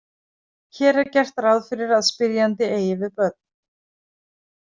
Hér er gert ráð fyrir að spyrjandi eigi við börn.